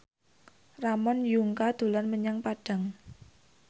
Ramon Yungka dolan menyang Padang